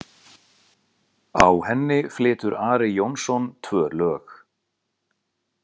Á henni flytur Ari Jónsson tvö lög.